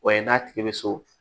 O ye n'a tigi bɛ so